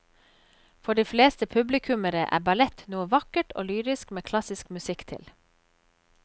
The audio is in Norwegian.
For de fleste publikummere er ballett noe vakkert og lyrisk med klassisk musikk til.